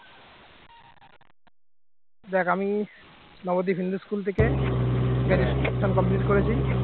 দেখ আমি নবদ্বীপ হিন্দু school থেকে graduation complete করেছি